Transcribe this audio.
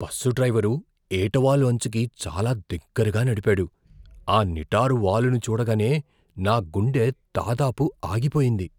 Bus driver ఏటవాలు అంచుకి చాలా దగ్గరగా నడిపాడు, ఆ నిటారు వాలుని చూడగానే నా గుండె దాదాపు ఆగిపోయింది.